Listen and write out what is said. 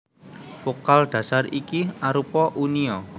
Vokal dhasar iki arupa uni a